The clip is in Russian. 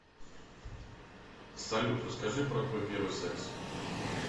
салют расскажи про твой первый секс